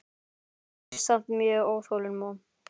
En ég er samt mjög óþolinmóð.